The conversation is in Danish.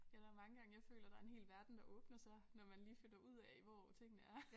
Ja der mange gange jeg føler der en hel verden der åbner sig når man lige finder ud af hvor tingene er